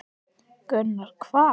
Gunnar: Hvað?